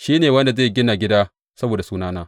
Shi ne wanda zai gina gida saboda Sunana.